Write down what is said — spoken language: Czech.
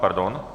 Pardon.